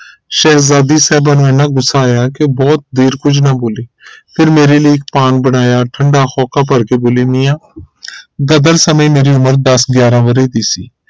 ਸ਼ਹਿਜ਼ਾਦੀ ਸਾਹਿਬਾਂ ਨੂੰ ਇਹਨਾਂ ਗੁੱਸਾ ਆਇਆ ਕਿ ਬਹੁਤ ਦੇਰ ਕੁਝ ਨਾ ਬੋਲੀ ਫਿਰ ਮੇਰੇ ਲਈ ਇੱਕ ਪਾਨ ਬਣਾਇਆ ਠੰਡਾ ਹੋਕਾ ਭਰ ਕੇ ਬੋਲੀ ਮੀਆਂ ਗ਼ਦਰ ਸਮੇ ਮੇਰੀ ਉਮਰ ਦੱਸ ਗਿਆਰਾਂ ਵਰੇ ਦੀ ਸੀ